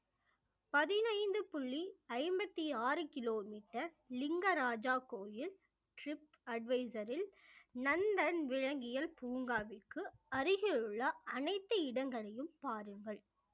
பதினைந்து புள்ளி ஐம்பத்தி ஆறு கிலோமீட்டர் லிங்கராஜா கோயில் tripadvisor ல் நந்தன் விலங்கியல் பூங்காவிற்கு அருகில் உள்ள அனைத்து இடங்களையும் பாருங்கள்